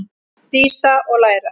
Dísa: Og læra.